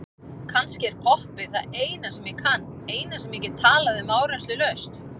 Kannski er poppið það eina sem ég kann, eina sem ég get talað um áreynslulaust.